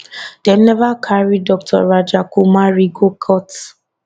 dem never carry dr rajakumari go court